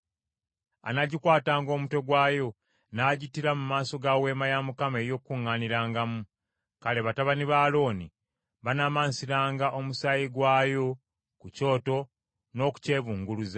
anaagikwatanga omutwe gwayo, n’agittira mu maaso ga Weema ey’Okukuŋŋaanirangamu. Kale batabani ba Alooni banaamansiranga omusaayi gwayo ku kyoto n’okukyebunguluza.